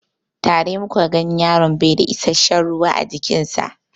Tare muka gan yaron baida isashen ruwa a jikin sa